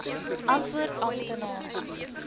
antwoord amptenaar